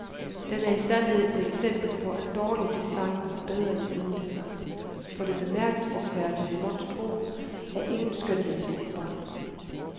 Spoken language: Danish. Den er i sandhed et eksempel på at dårlig design er bedre end ingen design, for det bemærkelsesværdige monstrum er ingen skønhedsåbenbaring.